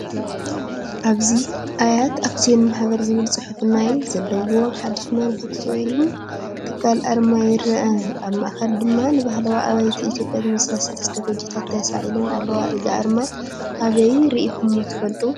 ኣብዚ “ኣያት ኣክሲዮን ማህበር” ዝብል ጽሑፍ ዘለዎ ናይ ሓደ ማኑፋክቸሪንግ ትካል ኣርማ ይርአ። ኣብ ማእኸል ድማ ንባህላዊ ኣባይቲ ኢትዮጵያ ዝመስላ ሰለስተ ጎጆታት ተሳኢለን ኣለዋ። እዚ ኣርማ ኣበይ ርኢኹምዎ ትፈልጡ?